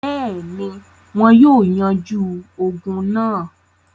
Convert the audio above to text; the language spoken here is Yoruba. Bẹ́ẹ̀ni, wọn yóò yanjú ogun náà.